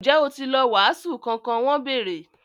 Ǹjẹ́ ó ti lọ “wàásù” kankan? wọ́n bèèrè.